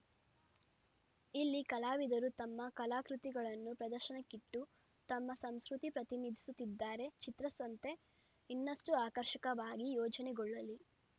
ಇಲ್ಲಿ ಕಲಾವಿದರು ತಮ್ಮ ಕಲಾಕೃತಿಗಳನ್ನು ಪ್ರದರ್ಶನಕ್ಕಿಟ್ಟು ತಮ್ಮ ಸಂಸ್ಕೃತಿ ಪ್ರತಿನಿಧಿಸುತ್ತಿದ್ದಾರೆ ಚಿತ್ರಸಂತೆ ಇನ್ನಷ್ಟುಆಕರ್ಷಕವಾಗಿ ಆಯೋಜನೆಗೊಳ್ಳಲಿ